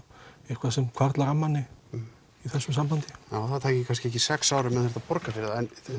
eitthvað sem hvarflar að manni í þessu sambandi það tæki kannski ekki sex ár ef maður þyrfti að borga fyrir